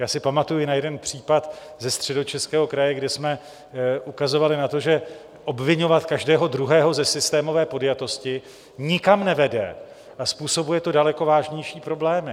Já si pamatuji na jeden případ ze Středočeského kraje, kde jsme ukazovali na to, že obviňovat každého druhého ze systémové podjatosti nikam nevede a způsobuje to daleko vážnější problémy.